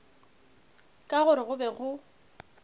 ka gore go be go